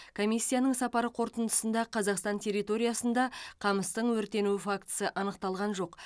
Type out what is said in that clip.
комиссияның сапары қорытындысында қазақстан территориясында қамыстың өртенуі фактісі анықталған жоқ